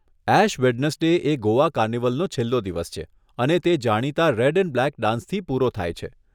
Ash Wednesday એ ગોવા કાર્નિવલનો છેલ્લો દિવસ છે અને તે જાણીતા રેડ એન્ડ બ્લેક ડાન્સથી પૂરો થાય છે.